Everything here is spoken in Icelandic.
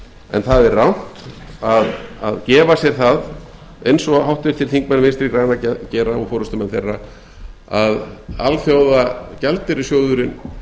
en það er rangt að gefa sér það eins og háttvirtir þingmenn vinstri grænna gera og forustumenn þeirra að alþjóðagjaldeyrissjóðurinn